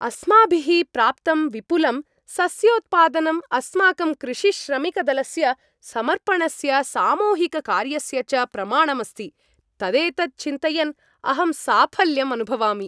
अस्माभिः प्राप्तं विपुलं सस्योत्पादनं अस्माकं कृषिश्रमिकदलस्य समर्पणस्य सामूहिककार्यस्य च प्रमाणम् अस्ति। तदेतत् चिन्तयन् अहं साफल्यम् अनुभवामि।